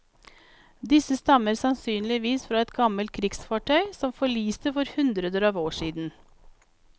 Disse stammer sansynligvis fra et gammelt krigsfartøy som forliste for hundreder av år siden.